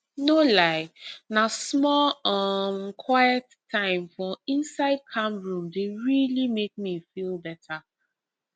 no lie na small um quiet time for insde calm room dey really make me feel better